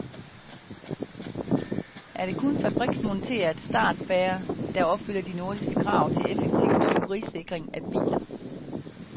Er det kun fabriksmonteret startspærre, der opfylder de nordiske krav til effektiv tyverisikring af biler.